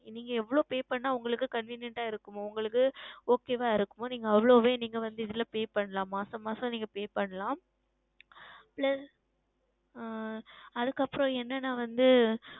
நீங்கள் எவ்வளவு Pay செய்தால் உங்களுக்கு Convenient ஆ இருக்கும் உங்களுக்கு Okay வ இருக்கும் அவ்வளவே நீங்கள் இதில் Pay செய்யலாம் மாதம் மாதம் நீங்கள் Pay செய்யலாம் Plus ஆஹ் அதற்கு அப்புறம் வந்து என்னவென்றால் வந்து